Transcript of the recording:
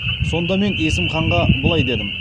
сонда мен есім ханға былай дедім